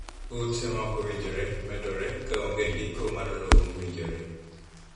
Ute ma ok owinjore medore ka onge ndiko mar lowo mowinjore.